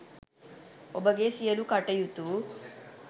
ඔබගේ සියළු කටයුතු